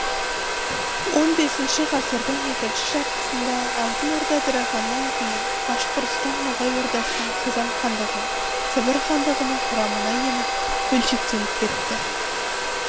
он бесінші ғасырдың екінші жартысында алтын орда ыдырағаннан кейін башқұрстан ноғай ордасының қазан хандығын сібір хандығының құрамына еніп бөлшектеніп кетті